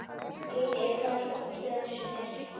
Geirríður, hvaða stoppistöð er næst mér?